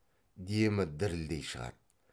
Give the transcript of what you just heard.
демі дірілдей шығады